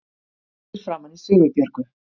Horfir framan í Sigurbjörgu